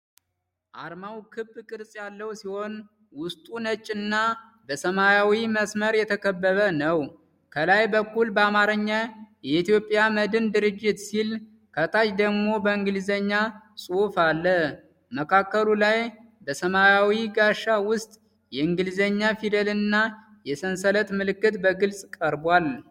አርማው ክብ ቅርጽ ያለው ሲሆን፣ ውስጡ ነጭና በሰማያዊ መስመር የተከበበ ነው። ከላይ በኩል በአማርኛ "የኢትዮጵያ መድን ድርጅት" ሲል፣ ከታች ደግሞ በእንግሊዝኛ ጽሑፍ አለ። መካከሉ ላይ በሰማያዊ ጋሻ ውስጥ የእንግሊዝኛ ፊደልና የሰንሰለት ምልክት በግልጽ ቀርቧል።